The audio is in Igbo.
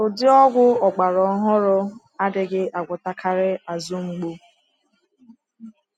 Ụdị ọgwụ ọgbara ohụrụ adịghị agwọtakarị azụ mgbu.